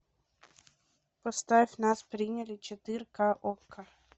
поставь нас приняли четырка окко